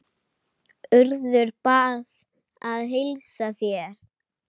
Urður bað að heilsa þér.